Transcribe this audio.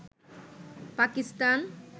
Pakistan